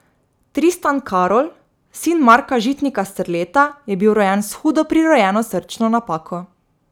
Tristan Karol, sin Marka Žitnika Strleta, je bil rojen s hudo prirojeno srčno napako.